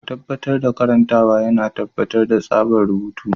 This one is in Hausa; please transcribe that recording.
Tabbatar da karantawa yana tabbatar da tsabtar rubutu.